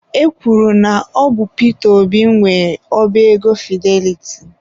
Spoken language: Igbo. E kwuru na ọ bụ Pita Obi nwe oba ego Fideliti.